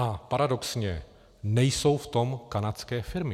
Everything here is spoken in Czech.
A paradoxně, nejsou v tom kanadské firmy.